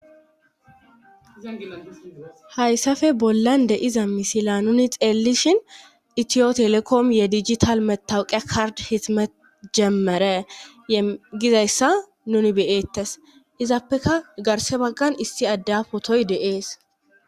Hayssafe bollan deiza misila nuni xeellishin itiyo telekom ye dijital metawuqe kard hismet jemmere yegizayssa nuni beyeettes izappeka garse baggan issi adde potoy de'ees.